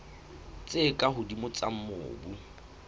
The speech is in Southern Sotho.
tse ka hodimo tsa mobu